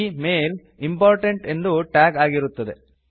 ಈ mail important ಎಂದು tag ಆಗಿರುತ್ತದೆ